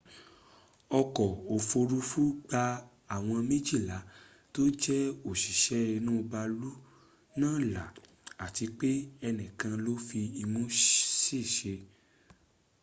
oko ofurufu gba awom mejila to je osise inu baalu na la ati pe enikan lo fi imu sese